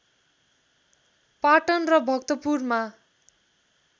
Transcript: पाटन र भक्तपुरमा